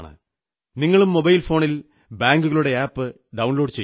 നിങ്ങളും മൊബൈൽ ഫോണിൽ ബാങ്കുകളുടെ ആപ് ഡൌൺലോഡു ചെയ്യൂ